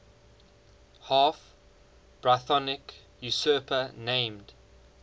half brythonic usurper named